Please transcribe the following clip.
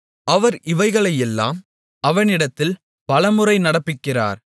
அவர் இவைகளையெல்லாம் அவனிடத்தில் பலமுறை நடப்பிக்கிறார்